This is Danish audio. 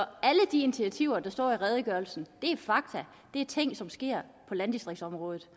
alle de initiativer der står nævnt i redegørelsen er fakta det er ting som sker på landdistriktsområdet